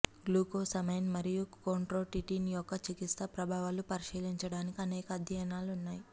glucosamine మరియు chondroitin యొక్క చికిత్స ప్రభావాలు పరిశీలించడానికి అనేక అధ్యయనాలు ఉన్నాయి